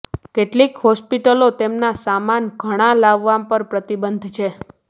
કેટલીક હોસ્પિટલો તેમના સામાન ઘણા લાવવામાં પર પ્રતિબંધ છે